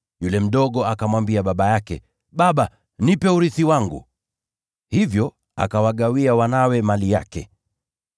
Yule mdogo akamwambia baba yake, ‘Baba, nipe urithi wangu.’ Hivyo akawagawia wanawe mali yake.